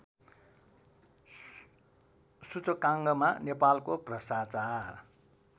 सूचकाङ्कमा नेपालको भ्रष्टाचार